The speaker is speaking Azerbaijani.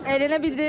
Əylənə bildin?